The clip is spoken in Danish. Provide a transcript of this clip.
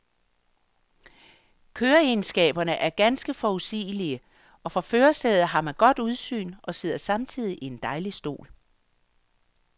Køreegenskaberne er ganske forudsigelige, og fra førersædet har man godt udsyn og sidder samtidig i en dejlig stol.